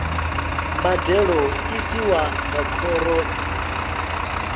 mbadelo i tiwa nga khoro